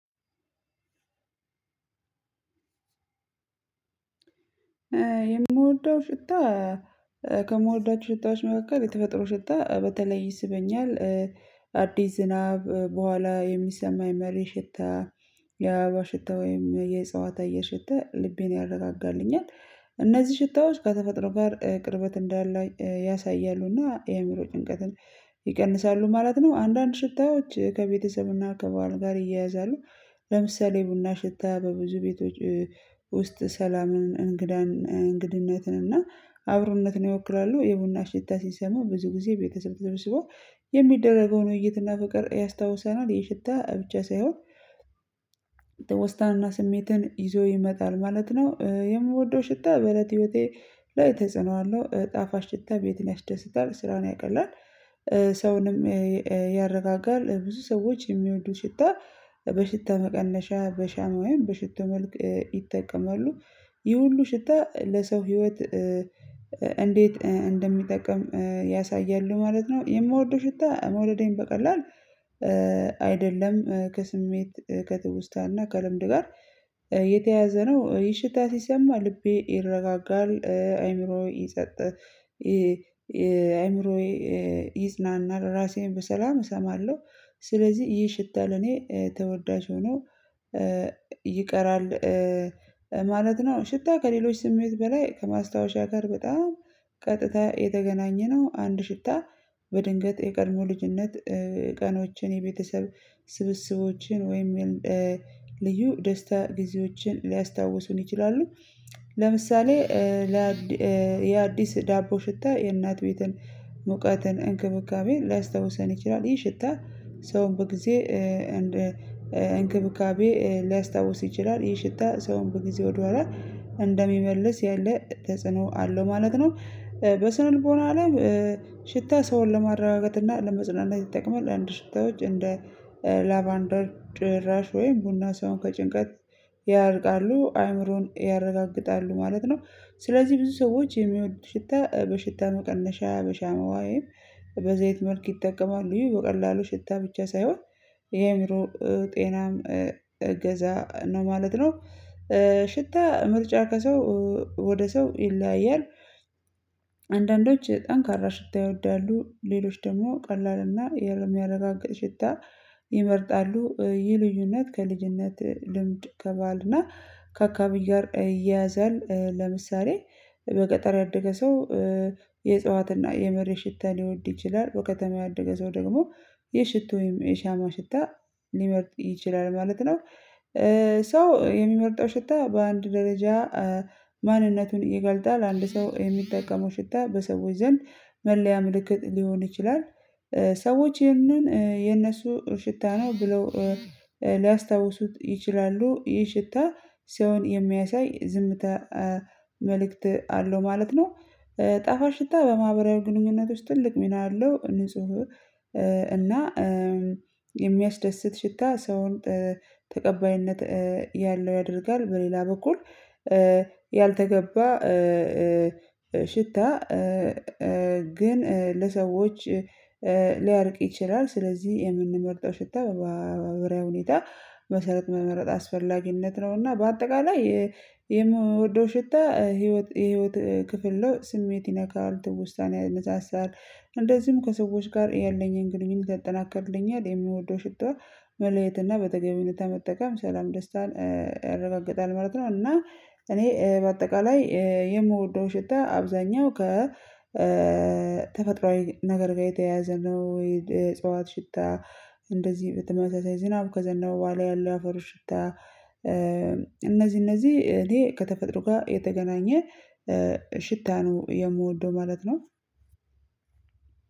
የምወደው ሽታ ከምወዳቸው ሽታዎች መካከል የተፈጥሮ ሽታ በተለይ ይስበኛል። አዲስ ዝናብ በኋላ የሚሰማኝ መሬት ሽታ የአበባ ሽታ ወይም የእጽዋት አየር ሽታ ልቤን ያረጋጋልኛል። እነዚህ ሽታዎች ከተፈጥሮ ጋር ቅርበት እንዳለ ያሳያሉና የአእምሮ ጭንቀትን ይቀንሳሉ ማለት ነው። አንዳንድ ሽታዎች ከቤተሰብና ከባህል ጋር ይያያዛሉ። ለምሳሌ የቡና ሽታ በብዙ ቤቶች ውስጥ ሰላምን እንግዳን እንግድነትን እና አብሮነትን ይወክላሉ። የቡና ሽታ ሲሰሙ ብዙ ጊዜ ቤተሰብ ተሰብስበው የሚደረገው ውይይት እና ፍቅር ያስታውሰናል። የሽታ ብቻ ሳይሆን ውስጣንና ስሜትን ይዞ ይመጣል ማለት ነው። የምወደው ሽታ በእለት ህይወቴ ላይ ተጽኖ አለው። ጣፋጭ ሽታ ቤትን ያስደስታል ስራን ያቀላል ሰውንም ያረጋጋል። ብዙ ሰዎች የሚወዱት ሽታ በሽታ መቀነሻ በሻማ ውይም በሽቶ መልክ ይጠቀማሉ። ይህ ሁሉ ሽታ ለሰው ህይወት እንዴት እንደሚጠቅም ያሳያሉ ማለት ነው። የምወደው ሽታ መውደዴን በቀላሉ አይደለም ከስሜት ከትውስታና ከልምድ ጋር የተያዘ ነው። ይህ ሽታ ሲሰማ ልቤ ይረጋጋል አይምሮዬ ይሰጥ አይምሮዬ ይዝናናል። ራሴን በሰላም እሰማለሁ ስለዚህ ይህ ሽታ ለኔ ተወዳጅ ሆኖ ይቀራል ማለት ነው። ሽታ ከሌሎች ስሜት በላይ ከማስታወሻ ጋር በጣም ቀጥታ የተገናኘ ነው። አንድ ሽታ በድንገት የቀድሞ ልጅነት ቀኖችን የቤተሰብ ስብስቦችን ወይም ልዩ ደስታ ጊዜዎችን ሊያስታውሱን ይችላሉ። ለምሳሌ የአዲስ ዳቦ ሽታ የእናት ቤትን ሙቀትን እንክብካቤን ሊያስታውሰን ይችላል። ይህ ሽታ ሰውን በጊዜ እንክብካቤ ሊያስታውስ ይችላል ይህ ሽታ ሰውን በጊዜ ወደኋላ እንደሚመልስ ያለ ተጽዕኖ አለው ማለት ነው። በስነ ልቦና ላይ ሽታ ሰውን ለማረጋጋት እና ለማጽናነት ይጠቅመዋል አንድ ሽታዎች እንደ ላባንደር ጭራሽ ወይም ቡና ሳይሆን ከጭንቀት ያርቃሉ አይምሮን ያረጋግጣሉ ማለት ነው። ስለዚህ ብዙ ሰዎች የሚወዱ ሽታ በሽታ መቀነሻ በሻማ ወይም በዘይት መልክ ይጠቀማል ይሄ በቀላሉ ሽታ ብቻ ሳይሆን የአእምሮ ጤናም እገዛ ነው ማለት ነው። ሽታ ምርጫ ከሰው ወደ ሰው ይለያያል። አንዳንዶች ጠንካራ ሽታ ይወዳሉ ሌሎች ደግሞ ቀላልና የሚያረጋጋ ሽታ ይመርጣሉ። ይህ ልዩነት ከልጅነት ልምድ ከባህልና ከአካባቢ ጋር ይያዛል። ለምሳሌ በገጠር ያደገ ሰው የእጽዋትና የመሬት ሽታ ሊወድ ይችላል። በከተማ ያደገ ሰው ደግሞ የሽቶ ወይም የሻማ ሽታ ሊመርጥ ይችላል ማለት ነው። ሰው የሚመርጠው ሽታ በአንድ ደረጃ ማንነቱን ይገልታል ለአንድ ሰው የሚጠቀመው ሽታ በሰዎች ዘንድ መለያ ምልክት ሊሆን ይችላል። ሰዎች ይህንን የነሱ ሽታ ነው ብለው ሊያስታውሱት ይችላሉ። ይህ ሽታ ሲሆን የሚያሳይ ዝምታ መልእክት አለው ማለት ነው። ጠፋጭ ሽታ በማህበራዊ ግንኙነቶች ትልቅ ሚና አለው። ንጹህ እና የሚያስደስት ሽታ ሰውን ተቀባይነት ያለው ያደርጋል በሌላ በኩል ያልተገባ ሽታ ግን ለሰዎች ሊያርቅ ይችላል። ስለዚህ የምንመርጠው ሽታ በማህበራዊ ሁኔታ መሰረት መመረጥ አስፈላጊነት ነው። እና በአጠቃላይ የምወደው ሽታ ህይወት የህይወት ክፍል ነው። ስሜት ይነካል ትውስታን ያነሳሳል እንደዚሁም ከሰዎች ጋር የለኝን ግንኙነት ያጠናክርልኛል። የምወደው ሽታ መለየት እና በጠገቤው ልታመጠቀም ሰላም ደስታ እረበግጣለሁ መረጥ ነው። እና እኔ በአጠቃላይ የምወደው ሽታ አብዛኛው ከ ከተፈጥሮአዊ ነገር ጋር የተያዘ ነው። የጽዋት ሽታ እንደዚህ በተመሳሳይ ዝናብ ከዘነበ በኋላ ያለው አፈሩ ሽታ እነዚህ እነዚህ እኔ ከተፈጥሮ ጋ የተገናኘ ሽታ ነው። የምወደው ማለት ነው።